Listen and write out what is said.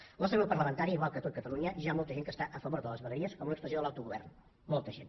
al nostre grup parlamentari igual que a tot catalunya hi ha molta gent que està a favor de les vegueries com una expressió de l’autogovern molta gent